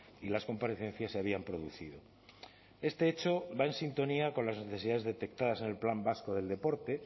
y las comparecencias se habían producido este hecho va en sintonía con las necesidades detectadas en el plan vasco del deporte